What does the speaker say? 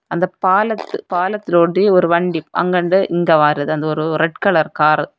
அந்தப் பாலத் பாலத்துல ஒட்டி ஒரு வண்டி அங்கிந்து இங்க வாரது அந்த ஒரு ரெட் கலர் காரு .